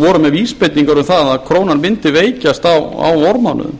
voru með vísbendingar um það að krónan mundi veikjast á vormánuðum